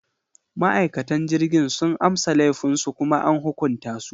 Ma’aikatan jirgin sun amsa laifinsu kuma an hukunta su.